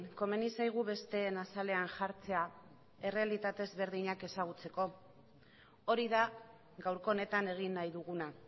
komeni zaigu besteen azalean jartzea errealitate ezberdinak ezagutzeko hori da gaurko honetan egin nahi duguna